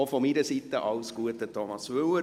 Auch von meiner Seite alles Gute an Thomas Müller.